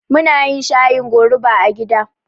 Munayin shayin goruba a gida